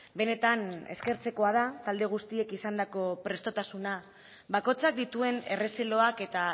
benetan eskertzekoa da talde guztiek izandako prestutasuna bakoitzak dituen errezeloak eta